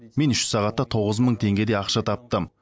мен үш сағатта тоғыз мың теңгедей ақша таптым